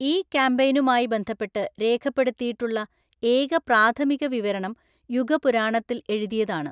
ഈ കാമ്പെയ്‌നുമായി ബന്ധപ്പെട്ട് രേഖപ്പെടുത്തിയിട്ടുള്ള ഏക പ്രാഥമിക വിവരണം യുഗപുരാണത്തിൽ എഴുതിയതാണ്.